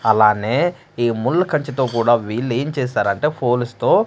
అలానే ఈ ముల్ల కంచె తో కుడా వీళ్ళు ఎం చేసారు అంటె ఫోలుస్తో --